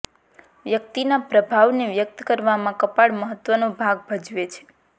વ્યક્તિના પ્રભાવને વ્યક્ત કરવામાં કપાળ મહત્ત્વનો ભાગ ભજવે છે